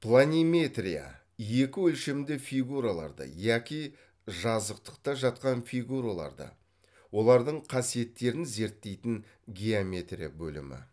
планиметрия екі өлшемді фигураларды яки жазықтықта жатқан фигураларды олардың қасиеттерін зерттейтін геометрия бөлімі